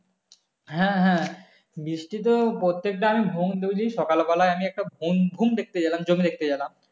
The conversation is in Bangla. হ্যাঁ হ্যাঁ বৃষ্টি তো প্রত্যেকদিন ঘুম থেকে উঠেই সকালবেলায় আমি একটা . জমি দেখতে গেলাম